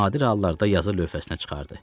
Nadir hallarda yazı lövhəsinə çıxardı.